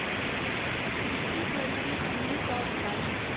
इक्की फरवरी उन्नी सौ सताई